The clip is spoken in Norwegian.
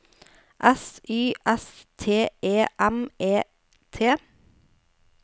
S Y S T E M E T